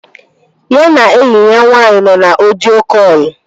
Ya na enyi ya nwaanyị nọ na ọdio kọlụ